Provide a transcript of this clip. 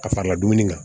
Ka fara dumuni kan